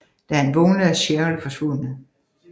Da han vågner er Cheryl forsvundet